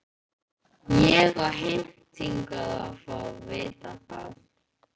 Ég á heimtingu á að fá að vita það.